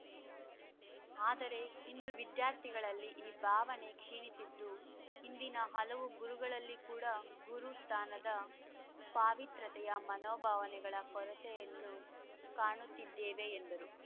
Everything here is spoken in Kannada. ಆದರೆ ಇಂದು ವಿದ್ಯಾರ್ಥಿಗಳಲ್ಲಿ ಈ ಭಾವನೆ ಕ್ಷೀಣಿಸಿದ್ದು ಇಂದಿನ ಹಲವು ಗುರುಗಳಲ್ಲಿ ಕೂಡ ಗುರು ಸ್ಥಾನದ ಪಾವಿತ್ರ್ಯತೆಯ ಮನೋಭಾವನೆಗಳ ಕೊರತೆಯನ್ನು ಕಾಣುತ್ತಿದ್ದೇವೆ ಎಂದರು